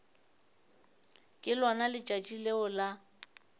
ke lona letšatši leo la